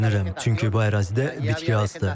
Kədərlənirəm, çünki bu ərazidə bitki azdır.